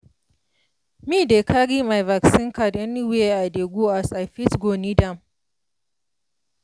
me dey carry my vaccine card anywhere i dey go as i fit go need am.